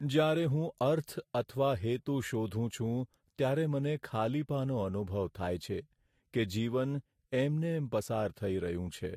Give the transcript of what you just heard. જ્યારે હું અર્થ અથવા હેતુ શોધું છું ત્યારે મને ખાલીપાનો અનુભવ થાય છે કે જીવન એમનેમ પસાર થઈ રહ્યું છે.